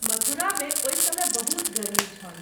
मथुरा मे ओहि समय बहुत गर्मी छल।